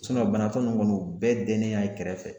banatɔ ninnu kɔni ,u bɛɛ dennen y'a kɛrɛfɛ.